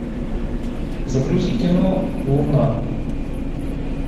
загрузи кино луна